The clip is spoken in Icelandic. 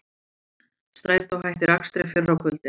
Strætó hættir akstri fyrr á kvöldin